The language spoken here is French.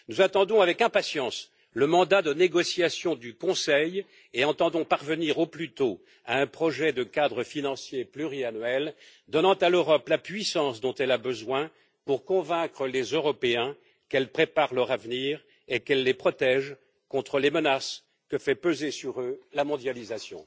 Nous attendons avec impatience le mandat de négociation du Conseil et entendons parvenir au plus tôt à un projet de cadre financier pluriannuel donnant à l'Europe la puissance dont elle a besoin pour convaincre les Européens qu'elle prépare leur avenir et qu'elle les protège contre les menaces que fait peser sur eux la mondialisation.